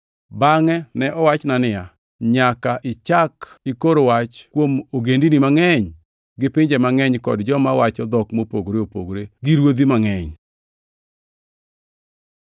Bangʼe ne owachna niya, “Nyaka ichak ikor wach kuom ogendini mangʼeny, gi pinje mangʼeny kod joma wacho dhok mopogore opogore gi ruodhi mangʼeny.”